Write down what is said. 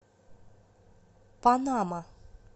панама